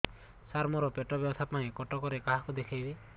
ସାର ମୋ ର ପେଟ ବ୍ୟଥା ପାଇଁ କଟକରେ କାହାକୁ ଦେଖେଇବି